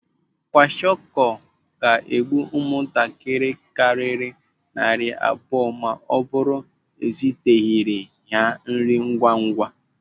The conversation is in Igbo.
Kwashiọkọ ga-egbu ụmụaka karịrị narị abụọ ma ọ bụrụ eziteghịrị ha nri ngwa ngwa.